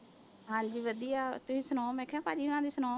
ਹਾਂਜੀ ਵਧੀਆ, ਤੁਸੀਂ ਸੁਣਾਓ ਮੈਂ ਕਿਹਾ ਭਾਜੀ ਹੋਣਾਂ ਦੀ ਸੁਣਾਓ।